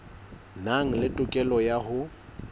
nang le tokelo ya ho